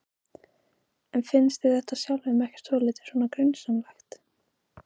En finnst þér þetta sjálfum ekkert svolítið svona grunsamlegt?